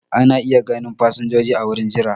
Ana iya ganin fasinjoji a wurin jira.